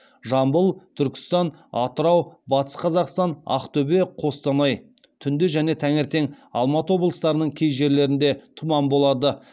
жамбыл түркістан атырау батыс қазақстан ақтөбе қостанай түнде және таңертең алматы облыстарының кей жерлерінде тұман болады